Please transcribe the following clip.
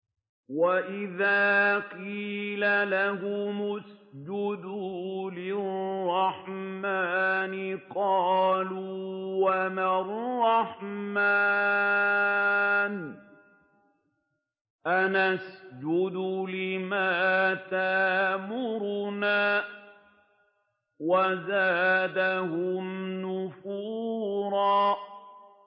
وَإِذَا قِيلَ لَهُمُ اسْجُدُوا لِلرَّحْمَٰنِ قَالُوا وَمَا الرَّحْمَٰنُ أَنَسْجُدُ لِمَا تَأْمُرُنَا وَزَادَهُمْ نُفُورًا ۩